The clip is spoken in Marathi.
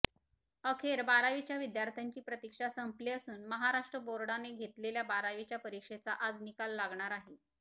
अखेर बारावीच्या विद्यार्थ्यांची प्रतीक्षा संपली असून महाराष्ट्र बोर्डाने घेतलेल्या बारावीच्या परीक्षेचा आज निकाल लागणार आहे